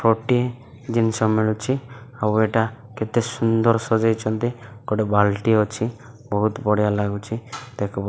ଗୋଟେ ଜିନିଷ ମିଳୁଛି ଆଉ ଏଇଟା କେତେ ସୁନ୍ଦର ସଜେଇଛନ୍ତି ଗୋଟିଏ ବାଲଟି ଅଛି ବହୁତ ବଢିଆ ଲାଗୁଛି ଦେଖବ --